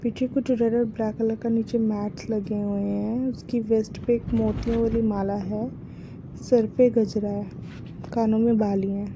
पीछे कुछ जगह ब्लैक कलर का नीचे मैट लगे हुए है उसकी वैस्ट पे एक मोतियों वाली माला है सर पे गजरा है कानो में बालियां है ।